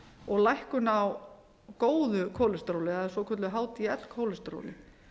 og lækkun á góðu kólesteróli eða hdl kólesteróli